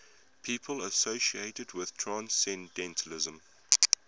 people associated with transcendentalism